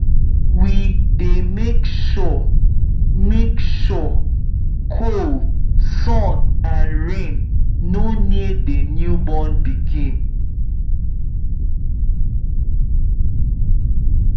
we dy make sure make sure cold sun and rain no near the new born pikin